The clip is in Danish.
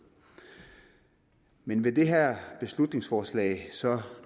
men vil det her beslutningsforslag så